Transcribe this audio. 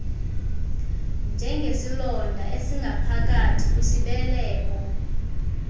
njengesilonda esingaphakathi kwisibeleko